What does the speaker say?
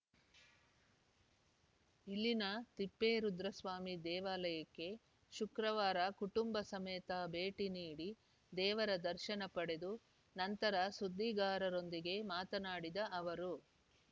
ಇಲ್ಲಿನ ತಿಪ್ಪೇರುದ್ರಸ್ವಾಮಿ ದೇವಾಲಯಕ್ಕೆ ಶುಕ್ರವಾರ ಕುಟುಂಬ ಸಮೇತ ಭೇಟಿ ನೀಡಿ ದೇವರ ದರ್ಶನ ಪಡೆದು ನಂತರ ಸುದ್ದಿಗಾರರೊಂದಿಗೆ ಮಾತನಾಡಿದ ಅವರು